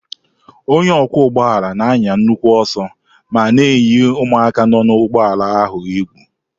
Onye ọkwọ ụgbọala na-anya nnukwu ọsọ ma na-eyi ụmụaka nọ na ụgbọala ahụ egwu.